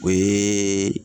O yeee